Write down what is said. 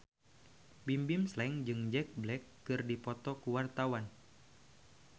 Bimbim Slank jeung Jack Black keur dipoto ku wartawan